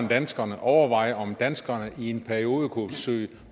danskerne overveje om danskerne i en periode kunne søge